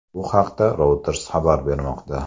Bu haqda Reuters xabar bermoqda.